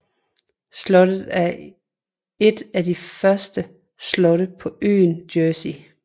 Slottet er et af de første slotte på øen Jersey